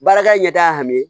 Baarakɛ ɲɛ t'a hami